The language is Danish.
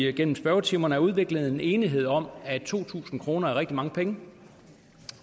igennem spørgetimerne er udviklet en slags enighed om at to tusind kroner er rigtig mange penge